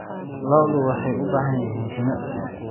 Lo'du waxay u baahan yihiin jimicsi.